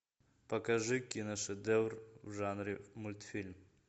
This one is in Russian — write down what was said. покажи киношедевр в жанре мультфильм